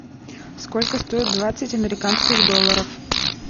сколько стоит двадцать американских долларов